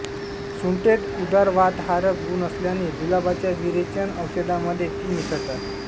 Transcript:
सुंठेत उदरवातहारक गुण असल्याने जुलाबाच्या विरेचन औषधामध्ये ती मिसळतात